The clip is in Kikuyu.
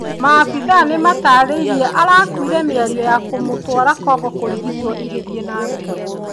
Maabithaa nĩmatarĩirie arakuire mĩario ya kũmũtwara Congo kũrigitwo ĩgĩthiĩ na mbere.